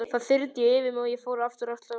Það þyrmdi yfir mig og ég fór aftur að gráta.